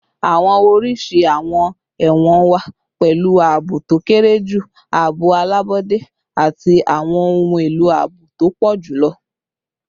Awọn oriṣi awọn ẹwọn wa, pẹlu aabo to kere ju, aabo alabọde, ati awọn ohun elo aabo to pọ julọ